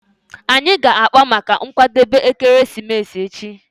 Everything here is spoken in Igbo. Anyị ga-akpa maka nkwadebe ekeresimesi echi